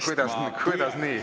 Kuidas nii?